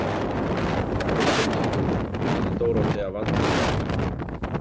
Auðvitað, sagði Dórótea vantrúuð.